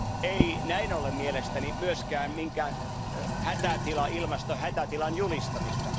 Ei näin ollen mielestäni myöskään minkään ilmastohätätilan julistamista.